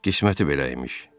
Qisməti belə imiş.